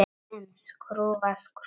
En skrúfa skrúfu?